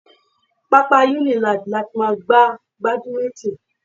Pápá Unilag láti máa gbá badminton.